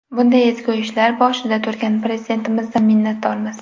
Bunday ezgu ishlar boshida turgan Prezidentimizdan minnatdormiz.